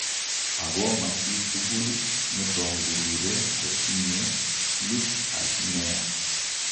Ako ma chitugul netongurure kotinye sleep apnea